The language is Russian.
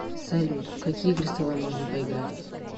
салют в какие игры с тобой можно поиграть